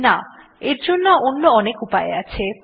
না এর জন্য অন্য অনেক উপায় আছে